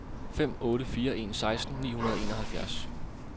fem otte fire en seksten ni hundrede og enoghalvfjerds